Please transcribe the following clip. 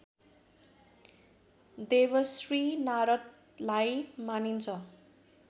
देवर्षि नारदलाई मानिन्छ